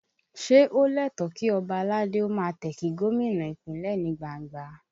Ṣé ó lẹ́tọ̀ọ̀ kí ọba aládé ó máa tẹ̀ kí gómìnà Ìpínlẹ̀ ní gbangba?